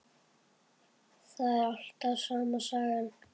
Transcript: Það er alltaf sama sagan.